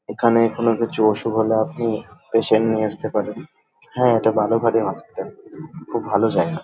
এখানে কোন কিছু অসুখ হলে আপনি পেশেন্ট নিয়ে আসতে পারেন হা এটা বালুরঘাটের হসপিটাল । খুব ভালো জায়গা।